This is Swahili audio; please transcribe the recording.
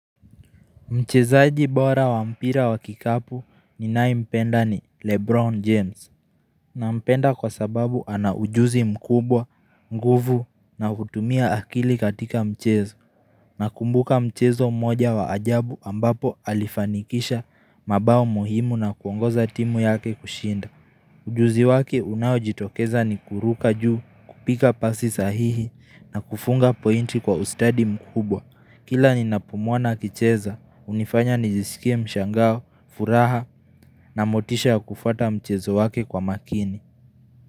Mchezaji bora wa mpira wa kikapu ni nayempenda ni Lebron James na mpenda kwa sababu ana ujuzi mkubwa, nguvu na kutumia akili katika mchezo na kumbuka mchezo moja wa ajabu ambapo alifanikisha mabao muhimu na kuongoza timu yake kushinda Ujuzi waki unayo jitokeza ni kuruka juu, kupika pasi sahihi na kufunga pointi kwa ustadi mkubwa Kila ni napomwona na kicheza, unifanya nijisikie mshangao, furaha na motisha kufuata mchezo wake kwa makini.